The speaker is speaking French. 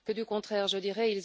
Au contraire, je dirais.